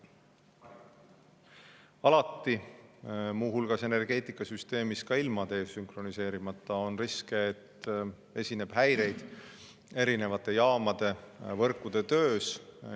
Alati, muu hulgas energeetikasüsteemis ka ilma desünkroniseerimata, on risk, et esineb häireid erinevate jaamade ja võrkude töös.